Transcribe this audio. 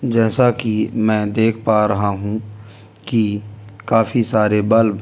जैसा कि मैं देख पा रहा हूं कि काफी सारे बल्ब यहां पर।